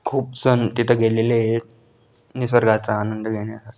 खूप जण तिथे गेलेले हेत निसर्गाचा आनंद घेण्यासाठी.